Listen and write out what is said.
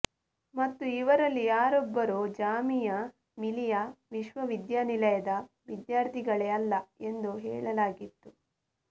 ಮತ್ತು ಇವರಲ್ಲಿ ಯಾರೊಬ್ಬರೂ ಜಾಮಿಯಾ ಮಿಲಿಯಾ ವಿಶ್ವವಿದ್ಯಾನಿಲಯದ ವಿದ್ಯಾರ್ಥಿಗಳೇ ಅಲ್ಲ ಎಂದು ಹೇಳಲಾಗಿತ್ತು